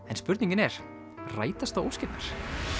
en spurningin er rætast þá óskirnar